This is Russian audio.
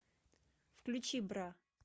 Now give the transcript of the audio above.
включи бра